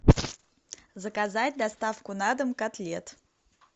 заказать доставку на дом котлет